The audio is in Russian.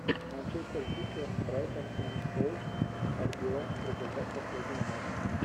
манчестер сити брайтон энд хоув альбион результат последнего матча